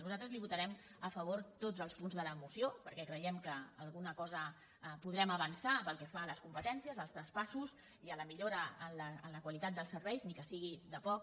nosaltres li votarem a favor tots els punts de la moció perquè creiem que alguna cosa podrem avançar pel que fa a les competències als traspassos i a la millora en la qualitat dels serveis ni que sigui de poc